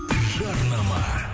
жарнама